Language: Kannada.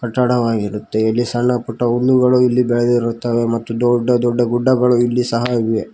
ದಡವಾಗಿರುತ್ತೆ ಇಲ್ಲಿ ಸಣ್ಣಪುಟ್ಟ ಹುಲ್ಲುಗಳು ಇಲ್ಲಿ ಬೆಳೆದಿರುತ್ತವೆ ಮತ್ತು ದೊಡ್ಡ ದೊಡ್ಡ ಗುಡ್ಡಗಳು ಇಲ್ಲಿ ಸಹ ಇವೆ.